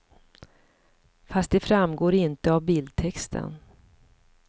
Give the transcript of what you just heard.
Fast det framgår inte av bildtexten.